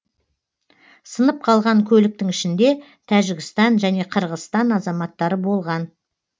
сынып қалған көліктің ішінде тәжікстан және қырғызстан азаматтары болған